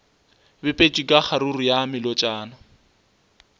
bipetšwe ka kgaruru ya melotšana